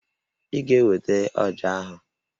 Ị ga-eweta ọjà ahụ!